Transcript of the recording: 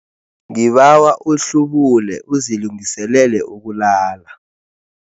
Ngibawa uhlubule uzilungiselele ukulala.